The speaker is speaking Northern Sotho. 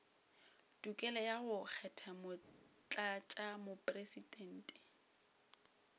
tokelo ya go kgetha motlatšamopresidente